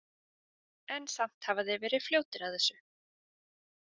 En samt hafa þeir verið fljótir að þessu.